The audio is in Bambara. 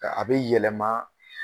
Ka a be yɛlɛma